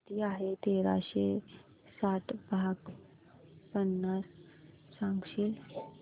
किती आहे तेराशे साठ भाग पन्नास सांगशील